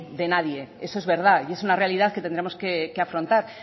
de nadie eso es verdad y es una realidad que tendremos que afrontar